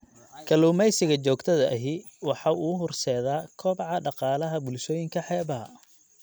Kalluumaysiga joogtada ahi waxa uu horseedaa kobaca dhaqaalaha bulshooyinka xeebaha.